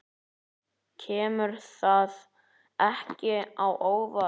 Kemur það ekki á óvart.